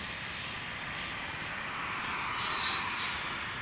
இல்ல ma'am hello